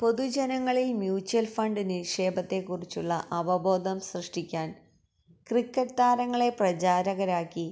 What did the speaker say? പൊതുജനങ്ങളിൽ mutual fund നിക്ഷേപത്തെക്കുറിച്ചുള്ള അവബോധം സൃഷ്ടിയ്ക്കാൻ ക്രിക്കറ്റ് താരങ്ങളെ പ്രചാരകരാക്കി